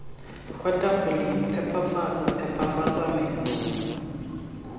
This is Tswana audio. kwa tafoleng phepafatsa phepafatsa meno